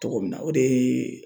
Togo min na o de ye